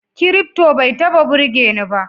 Kirifto bai taba burgeni ba